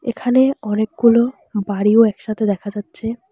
এখানে অনেকগুলো বাড়িও একসাথে দেখা যাচ্ছে।